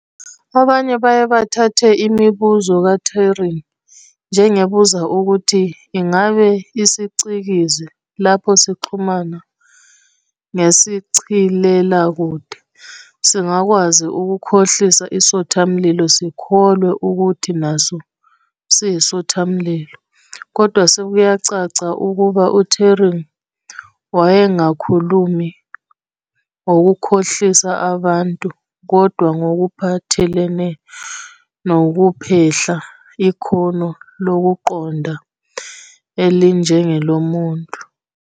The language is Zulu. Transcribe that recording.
Abanye baye bathatha imibuzo ka-Turing njengebuza ukuthi "ingabe isiCikizi, lapho sixhumana ngesichilelakude, singakwazi ukukhohlisa isothamlilo sikholwe ukuthi naso siyisothamlilo?". kodwa sekuyacaca ukuba uTuring wayengakhulumi ngokukhohlisa abantu kodwa ngokuphathelene nokuphehla ikhono lokuqonda elinjengelomuntu.